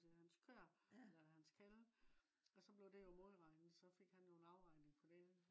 altså af hans køer eller hans kalve også blev det jo modreget også fik han jo en afregning på det